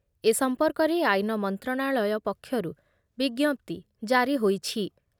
ଏ ସମ୍ପର୍କରେ ଆଇନ ମନ୍ତ୍ରଣାଳୟ ପକ୍ଷରୁ ବିଜ୍ଞପ୍ତି ଜାରି ହୋଇଛି ।